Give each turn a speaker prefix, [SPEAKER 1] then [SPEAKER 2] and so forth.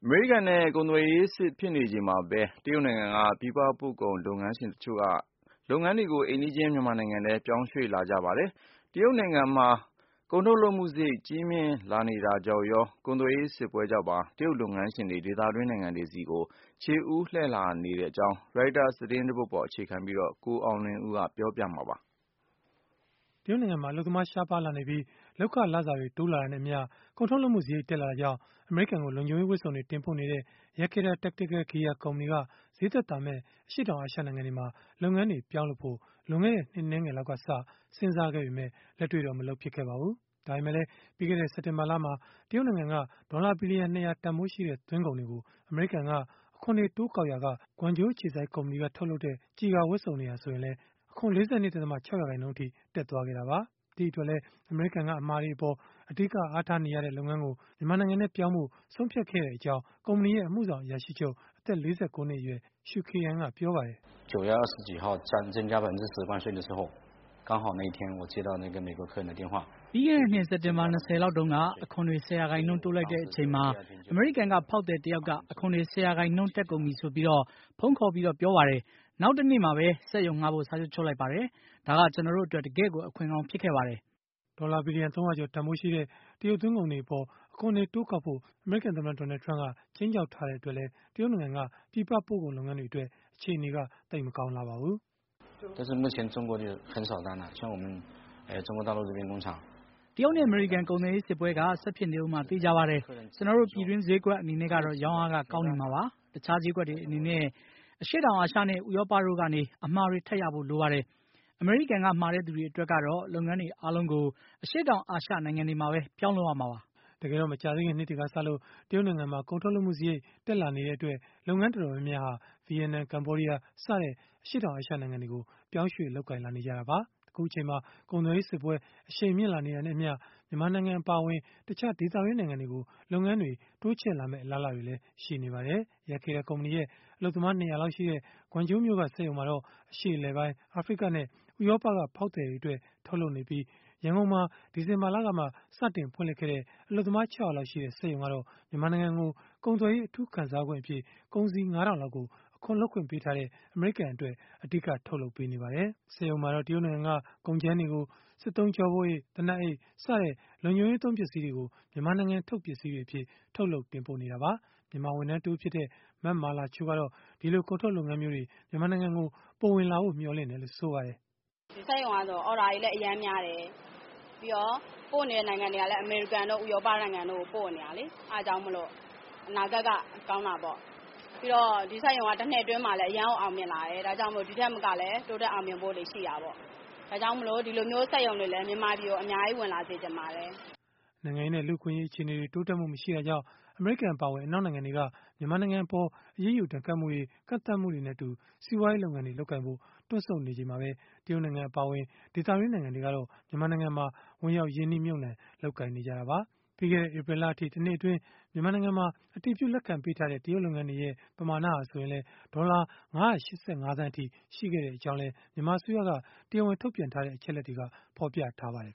[SPEAKER 1] မေရိကန်နဲ့ ကုန်သွယ်ရေးစစ် ဖြစ်နေချိန်မှာပဲ တရုတ်နိုင်ငံက ပြည်ပပို့ကုန်လုပ်ငန်းရှင် တချို့က လုပ်ငန်းတွေကို အိမ်နီးချင်း မြန်မာနိုင်ငံထဲ ပြောင်းရွှေ့လာနေကြပါတယ်။ တရုတ်နိုင်ငံမှာ ကုန်ထုတ်လုပ်မှုစရိတ် ကြီးမြင့်လာနေတာကြောင့်ရော၊ ကုန်သွယ်ရေးစစ်ပွဲကြောင့်ပါ တရုတ်လုပ်ငန်းရှင်တွေ ဒေသတွင်း နိုင်ငံတွေကို ခြေဦးလှည့်လာနေတဲ့အကြောင်း Reuters သတင်းဆောင်းပါးကိုတော့ ကိုအောင်လွင်ဦးက ပြောပြပေးမှာပါ။ တရုတ်နိုင်ငံမှာ အလုပ်သမားရှားပါးလာနေပြီး၊ လုပ်ခလစာတွေ တိုးလာတာနဲ့အမျှ ကုန်ထုတ်လုပ်မှုစရိတ် တက်လာတာကြောင့် အမေရိကန်ကို လုံခြုံရေးဝတ်စုံတွေ တင်ပို့နေတဲ့ Yakeda Tactical Gear ကုမ္ပဏီက ဈေးသက်သာမယ့် အရှေ့တောင်အာရှ နိုင်ငံတွေမှာ လုပ်ငန်းတွေ ပြောင်းလုပ်ဖို့ လွန်ခဲ့တဲ့ နှစ်အနည်းငယ်လောက်ကစ စဉ်းစားခဲ့ပေမဲ့ လက်တွေ့တော့ မလုပ်ဖြစ်ခဲ့ပါဘူး။ ဒါပေမဲလည်း ပြီးခဲ့တဲ့ စက်တင်ဘာလမှာ တရုတ်နိုင်ငံက ဒေါ်လာဘီလီယံ ၂၀၀ တန်ဘိုးရှိတဲ့ သွင်းကုန်တွေကို အမေရိကန်က အခွန်တွေ တိုးကောက်ရာက၊ Guangzhou အခြေစိုက် သူ့ကုမ္ပဏီက ထုတ်တဲ့ ကျည်ကာဝတ်စုံတွေဟာ ဆိုရင်လည်း အခွန် ၄၂.၆ ရာခိုင်နှုန်းအထိ တက်သွားခဲ့တာပါ။ ဒီအတွက်လည်း အမေရိကန်က အမှာတွေအပေါ် အဓိက အားထားနေတဲ့ လုပ်ငန်းကို မြန်မာနိုင်ငံထဲကို ပြောင်းဖို့ ဆုံးဖြတ်ခဲ့ရကြောင်း ကုမ္ပဏီရဲ့ အမှုဆောင် အရာရှိချုုပ် အသက် ၄၉ နှစ်အရွယ် Shu Ke'an ကပြောပါတယ်။ “ပြီးခဲ့တဲ
[SPEAKER 2] ့နှစ် စက်တင်ဘာ ၂၀ လောက်တုန်းက အခွန်တွေ ၁၀ ရာခိုင်နှုန်း တိုးလိုက်တဲ့အချိန်မှာ အမေရိကန်က ဖောက်သည်တယောက်က အခွန်တွေ ၁၀ ရာခိုင်နှုန်း တက်ကုန်ပြီဆိုပြီး ဖုန်းခေါ်ပြီး ပြောပါတယ်။ နောက်တနေ့ပဲ
[SPEAKER 1] စက်ရုံငှားဖို့ စာချုပ်ချုပ်လိုက်ပါတယ်။ ဒါက ကျနော်တို့အတွက် တကယ့်ကို အခွင့်ကောင်း ဖြစ်ခဲ့ပါတယ်။” ဒေါ်လာဘီလီယံ ၃၀၀ ကျော် တန်ဘိုးရှိတဲ့ တရုတ်သွင်းကုန်တွေအပေါ် အခွန်တွေ တိုးကောက်ဖို့ အမေရိကန်သမ္မတ Donald Trump က ခြိမ်းခြောက်ထားတဲ့ အတွက်လည်း တရုတ်နိုင်ငံက ပြည်ပပို့ကုန်လုပ်ငန်းတွေအတွက် အခြေအနေက သိပ်မကောင်းလှပါဘူး။
[SPEAKER 2] “တရုတ်နဲ့ အမေရိကန် ကုန်သွယ်ရေးစစ်ပွဲက ဆက်ဖြစ်နေဦးမှာ သေချာပါတယ်။ ကျနော်တို့ ပြည်တွင်းဈေးကွက် အနေနဲ့ကတော့ ရောင်းအားက ကောင်းနေမှာပါ။ တခြားဈေးကွက်တွေ အနေနဲ့ အရှေ့တောင်အာရှနဲ့ ဥရောပတို့ကနေ အမှာတွေ ထပ်ရဖို့ လိုပါတယ်။ အမေရိကန်က မှာတဲ့သူတွေအတွက်ကတော့ လုပ်ငန်းတွေအားလုံးကို အရှေ့တောင်
[SPEAKER 1] အာရှ နိုင်ငံတွေမှာပဲ ပြောင်းလုပ်ရမှာပါ။” တကယ်တော့ မကြာသေးခင်နှစ်တွေကစလို့ တရုတ်နိုင်ငံမှာ ကုန်ထုတ်လုပ်မှုစရိတ် တက်လာနေတဲ့အတွက် လုပ်ငန်းတော်တော်များများဟာ ဗီယက်နမ်၊ ကမ္ဘောဒီးယား စတဲ့ အရှေ့တောင်အာရှနိုင်ငံတွေကို ပြောင်းရွှေ့ လုပ်ကိုင်လာနေကြတာပါ။ အခုအချိန်မှာ ကုန်သွယ်ရေးစစ်ပွဲ အရှိန်မြင့်လာနေတာနဲ့အမျှ မြန်မာနိုင်ငံ အပါအဝင် တခြားဒေသတွင်း နိုင်ငံတွေကို လုပ်ငန်းတွေ တိုးချဲ့လာမယ့် အလားအလာတွေလည်း ရှိနေပါတယ်။ Yakeda ကုမ္ပဏီရဲ့ အလုပ်သမား ၂၀၀ လောက်ရှိတဲ့ Guangzhou မြို့က စက်ရုံမှာတော့ အရှေ့အလယ်ပိုင်း၊ အာဖရိကနဲ့ ဥရောပက ဖောက်သည်တွေအတွက် ထုတ်လုပ်နေပြီး ရန်ကုန်မှာ ဒီဇင်ဘာလကမှ စတင်ဖွင့်လှစ်ခဲ့တဲ့ အလုပ်သမား ၆၀၀ လောက်ရှိတဲ့ စက်ရုံကတော့ မြန်မာနိုင်ငံကို ကုန်သွယ်ရေးအထူးခံစားခွင့်အဖြစ် ကုန်စည် ၅ ထောင်လောက်ကို အခွန်လွတ်ပေးထားတဲ့ အမေရိကန်အတွက် အဓိက ထုတ်လုပ်ပေးနေပါတယ်။ စက်ရုံမှာတော့ တရုတ်နိုင်ငံက ကုန်ကြမ်းတွေကို စစ်သုံးကျောပိုးအိတ်၊ သေနတ်အိတ်စတဲ့ လုံခြုံရေးသုံး ပစ္စည်းတွေကို မြန်မာနိုင်ငံထုတ် ပစ္စည်းတွေအဖြစ် ထုတ်လုပ် တင်ပို့နေတာပါ။ မြန်မာဝန်ထမ်းတဦးဖြစ်တဲ့ မမာလာချို ကတော့ ဒီလိုကုန်ထုတ်လုပ်ငန်းမျိုးတွေ မြန်မာနိုင်ငံကို ပိုဝင်လာဖို့ မျှော်လင့်တယ်လို့ ဆိုပါတယ်။ “စက်ရုံကတော့ အော်ဒါတွေလည်းအရမ်းများတယ်။ ပြီးတော့ ပို့နေတဲ့ နိုင်ငံတွေကလည်း အမေရိကန်တို့ ဥရောပတို့ကို ပို့နေတာလေ။ အဲဒါကြောင့်မို့လို့ အနာဂတ်ကကောင်းတာပေါ့ ပြီးတော့ ဒီစက်ရုံကလည်း တနှစ်အတွင်းမှာ အရမ်းကိုအောင်မြင်လာတယ် ဒီထက်ပိုပြီးတော့
[SPEAKER 2] လည်း တိုးတက်အောင်မြင်ဖို့ရှိတာပေါ့။ ဒါကြောင့်မို့ ဒီလိုမျိုးစက်ရုံတွေလည်း မြန်မာပြည်ကို အများကြီး ဝင်လာစေ
[SPEAKER 1] ချင်ပါတယ်။” နိုင်ငံရေးနဲ့ လူ့အခွင့်အရေး အခြေအနေတွေ တိုးတက်မှုမရှိတာကြောင့် အမေရိကန် အပါအဝင် အနောက်နိုင်ငံတွေက မြန်မာနိုင်ငံအပေါ် အရေးယူဒဏ်ခတ်မှုတွေ ကန့်သတ်မှုတွေနဲ့အတူ စီးပွားရေးလုပ်ငန်းတွေ လုပ်ကိုင်ဖို့ တွန့်ဆုတ်နေချိန်မှာပဲ တရုတ်နိုင်ငံ အပါအဝင် ဒေသတွင်း နိုင်ငံတွေကတော့ မြန်မာနိုင်ငံမှာ ဝင်ရောက် ရင်းနှီးမြှုပ်နှံ လုပ်ကိုင်နေကြတာပါ။ ပြီးခဲ့တဲ့ ဧပြီလအထိ တနှစ်အတွင်း အတည်ပြု လက်ခံပေးထားတဲ့ တရုတ်လုပ်ငန်းတွေရဲ့ ပမာဏဟာ ဆိုရင်လည်း ဒေါ်လာ ၅၈၅ သန်းအထိ ရှိခဲ့ကြောင်းလည်း မြန်မာအစိုးရက တရားဝင်ထုတ်ပြန်တဲ့ အချက်အလက်တွေက ဖော်ပြထားပါတယ်